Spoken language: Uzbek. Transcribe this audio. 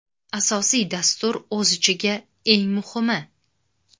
Asosiy dastur o‘z ichiga: Eng muhimi!